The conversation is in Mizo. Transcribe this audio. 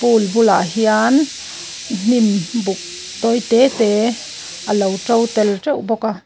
pool bulah hian hnim buk tawi te te alo ṭo tel teuh bawk.